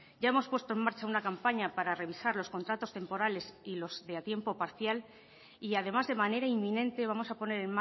ya hemos puesto en marcha una campaña para revisar los contratos temporales y los de a tiempo parcial y además de manera inminente vamos a poner